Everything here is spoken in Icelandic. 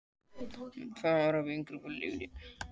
Erla: Hvernig gerðist það?